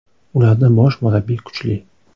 Ularda bosh murabbiy kuchli.